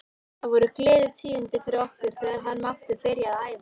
Það voru gleðitíðindi fyrir okkur þegar hann mátti byrja að æfa.